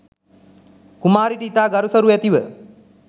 කුමාරිට ඉතා ගරුසරු ඇතිව